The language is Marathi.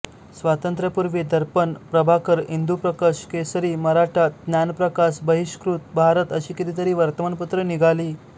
स्वातंत्र्यापूर्वी दर्पण प्रभाकर इंदुप्रकश केसरी मराठा ज्ञानप्रकाश बहिष्कृत भारत अशी कितीतरी वर्तमानपत्रे निघाली